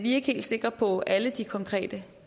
er ikke helt sikre på alle de konkrete